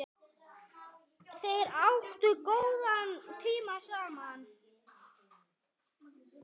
Þeir áttu góðan tíma saman.